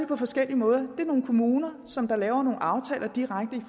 på forskellige måder der er nogle kommuner som laver nogle aftaler direkte